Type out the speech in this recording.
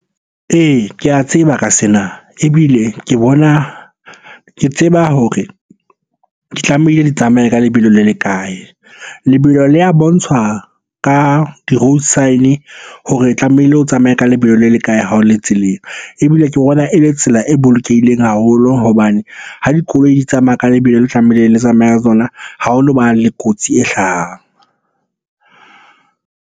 Ee, ke a tseba ka sena. Ebile ke bona, ke tseba hore ke tlamehile tsamaye ka lebelo le le kae? Lebelo le ya bontshwa ka di-road sign-e hore e tlamehile o tsamaye ka lebelo le le kae ha o le tseleng. Ebile ke bona e le tsela e bolokehileng haholo hobane ha dikoloi di tsamaya ka lebelo le tlamehile le tsamaya ka tsona, ha o no ba le kotsi e hlahang.